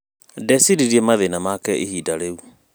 Ndeciririe mathĩna make ihinda rĩu